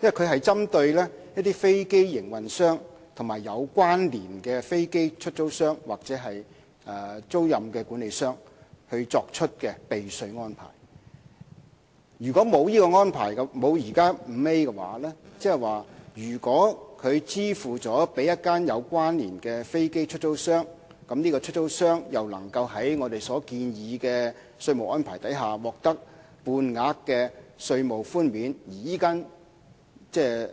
因為它是針對飛機營運商及有關連的飛機出租商或租賃管理商作出的避稅安排，如果沒有第 5A 條，即是說如果它支付給一間有關連的飛機出租商後，如果該出租商又可以在我們建議的稅務安排下獲得半額稅務寬免，而這間